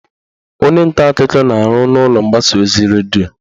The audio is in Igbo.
Onye nta akụkọ na-arụ n'ụlọ mgbasa ozi redio